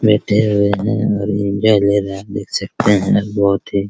बैठे हुए है और एंजॉय ले रहा है देख सकते है बहुत ही --